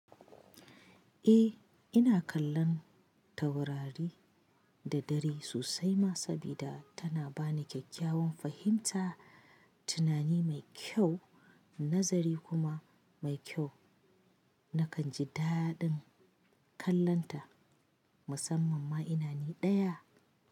Eh, ina kallon taurari da dare sosai ma sabida tana bani kyakkyawan fahimta, tunani mai kyau, nazari kuma mai kyau. Nakan ji daɗin kallonta, musamman ma ina ni ɗaya.